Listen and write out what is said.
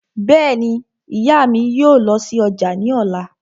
Bẹ́ẹ̀ni, ìyá mi yóò lọ sí ọjà ní ọ̀la